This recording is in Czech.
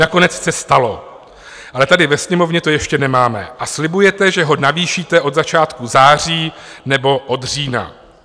Nakonec se stalo, ale tady ve Sněmovně to ještě nemáme, a slibujete, že ho navýšíte od začátku září nebo od října.